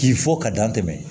K'i fɔ ka dan tɛmɛ